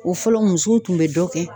O fɔlɔ , musow tun bɛ dɔ kɛ.